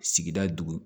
Sigida dugu